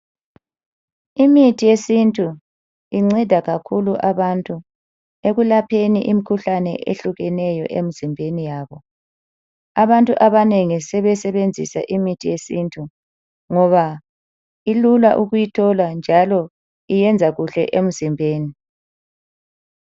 Imithi yesintu inceda kakhulu abantu ekulapheni imikhuhlane ehlukeneyo emizimbeni yabo. Abantu abanengi sebesebenzisa imithi yesintu ngoba ilula ukuyithola njalo iyenza kuhle emzimbeni.